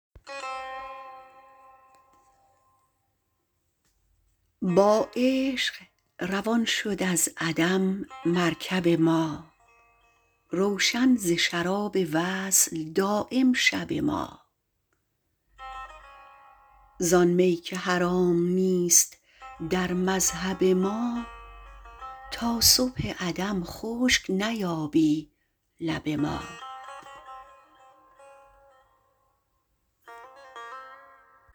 با عشق روان شد از عدم مرکب ما روشن ز شراب وصل دایم شب ما زان می که حرام نیست در مذهب ما تا صبح عدم خشک نیابی لب ما